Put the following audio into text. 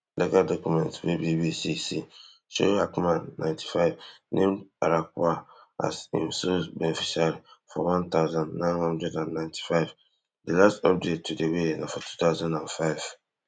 legal documents wey BBC see show hackman ninety-five name arkawa as in sole beneficiary for one thousand, nine hundred and ninety-five di last update to di will na for two thousand and five